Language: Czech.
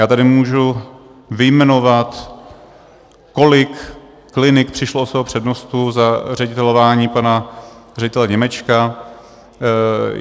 Já tady můžu vyjmenovat, kolik klinik přišlo o svého přednostu za ředitelování pana ředitele Němečka.